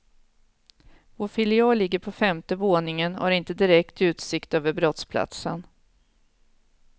Vår filial ligger på femte våningen och har inte direkt utsikt över brottsplatsen.